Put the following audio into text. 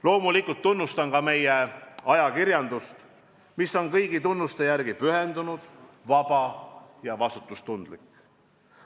Loomulikult tunnustan ka meie ajakirjandust, mis on kõigi tunnuste järgi pühendunud, vaba ja vastutustundlik.